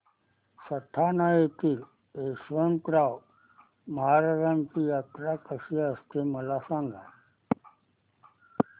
सटाणा येथील यशवंतराव महाराजांची यात्रा कशी असते मला सांग